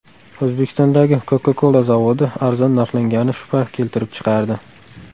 O‘zbekistondagi Coca-Cola zavodi arzon narxlangani shubha keltirib chiqardi.